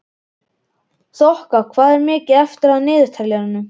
Þoka, hvað er mikið eftir af niðurteljaranum?